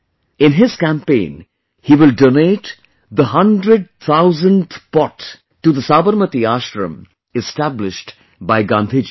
In his campaign, he will donate the hundred thousandth pot to the Sabarmati Ashram established by Gandhi ji